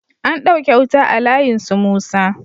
An ɗauke wuta a layin su musa